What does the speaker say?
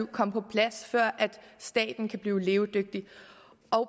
at komme på plads før staten kan blive levedygtig